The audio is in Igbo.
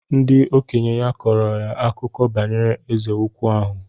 Ndị okenye ya kọrọ akụkọ banyere Eze ukwu ahụ.